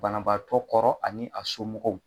Banabaatɔ kɔrɔ ani a somɔgɔw